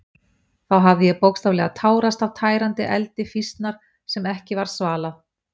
Þá hafði ég bókstaflega tárast af tærandi eldi fýsnar sem ekki varð svalað.